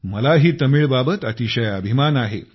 मलाही तमिळ बाबत अतिशय अभिमान आहे